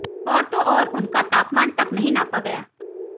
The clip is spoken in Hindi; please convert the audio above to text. और तो और उनका तापमान तक नहीं नापा गया